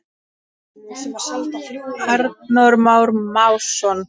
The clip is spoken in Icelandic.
Arnór Már Másson.